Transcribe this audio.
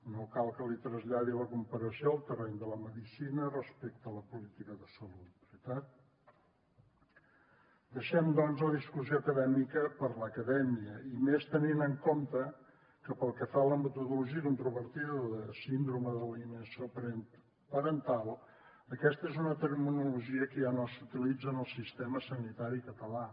no cal que li traslladi la comparació al terreny de la medicina respecte a la política de salut veritat deixem doncs la discussió acadèmica per l’acadèmia i més tenint en compte que pel que fa a la metodologia controvertida de la síndrome d’alineació parental aquesta és una terminologia que ja no s’utilitza en el sistema sanitari català